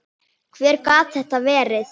Hver gat þetta verið?